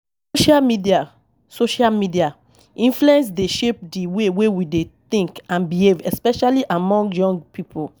Social media Social media influence dey shape di way wey we think and behave, especially among young people.